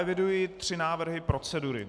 Eviduji tři návrhy procedury.